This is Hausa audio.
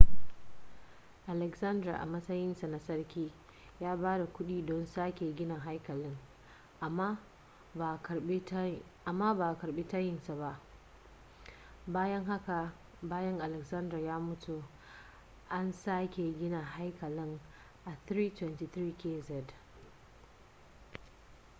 alexander a matsayin sa na sarki ya ba da kuɗi don sake gina haikalin amma ba a karɓi tayin nasa ba bayan haka bayan alexander ya mutu aka sake gina haikalin a 323 kz